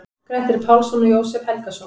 Grettir Pálsson og Jósep Helgason.